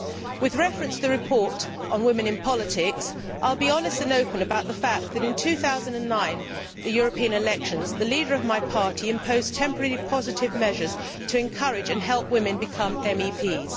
With reference to the report on women in politics, I will be honest and open about the fact that in 2009, during the European elections, the leader of my party imposed temporary, positive measures to encourage and help women become MEPs.